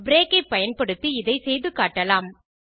break ஐ பயன்படுத்தி இதை செய்து காட்டலாம்